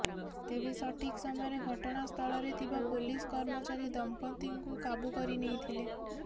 ତେବେ ସଠିକ ସମୟରେ ଘଟଣାସ୍ଥଳରେ ଥିବା ପୋଲିସ କର୍ମଚାରୀ ଦମ୍ପତିଙ୍କୁ କାବୁ କରିନେଇଥିଲେ